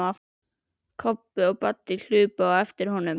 Kobbi og Baddi hlupu á eftir honum.